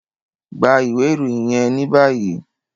Gba iwe iroyin yẹn ni bayi!